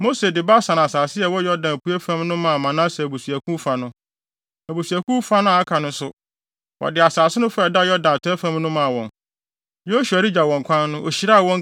Mose de Basan asase a ɛwɔ Yordan apuei fam no maa Manase abusuakuw fa no. Abusuakuw no fa a aka no nso, wɔde asase no fa a ɛda Yordan atɔe fam no maa wɔn. Yosua regya wɔn kwan no, ohyiraa wɔn,